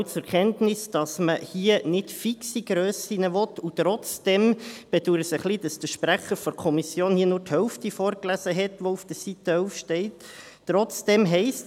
Wir nehmen auch zur Kenntnis, dass man hier nicht fixe Grössen will, und trotzdem ... Ich bedaure es ein wenig, dass der Kommissionssprecher hier nur die Hälfte dessen, was auf Seite 11 steht, vorgelesen hat.